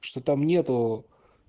что там нет